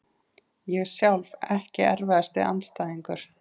Ég sjálf Ekki erfiðasti andstæðingur?